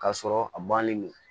K'a sɔrɔ a bannen do